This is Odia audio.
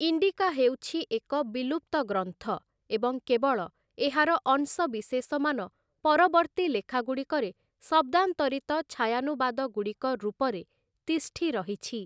ଇଣ୍ଡିକା' ହେଉଛି ଏକ ବିଲୁପ୍ତ ଗ୍ରନ୍ଥ, ଏବଂ କେବଳ ଏହାର ଅଂଶବିଶେଷମାନ ପରବର୍ତ୍ତୀ ଲେଖାଗୁଡ଼ିକରେ ଶବ୍ଦାନ୍ତରିତ ଛାୟାନୁବାଦଗୁଡ଼ିକ ରୂପରେ ତିଷ୍ଠିରହିଛି ।